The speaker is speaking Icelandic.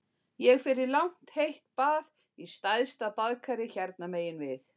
Ég fer í langt heitt bað í stærsta baðkari hérna megin við